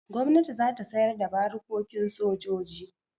Gwamnati za ta sayar da barikokin sojoji.